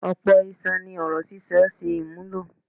Ọ̀pọ̀ iṣan ni ọ̀rọ̀ sísọ ń ṣe àmúlò.